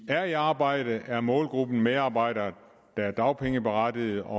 er i arbejde er målgruppen medarbejdere der er dagpengeberettigede og